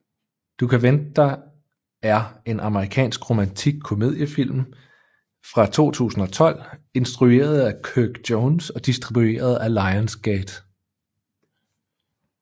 Du kan vente dig er en amerikansk romantisk komediefilm fra 2012 instrueret af Kirk Jones og distribueret af Lionsgate